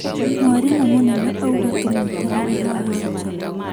Mwarimũ mũnene auga tũmwetere haha nja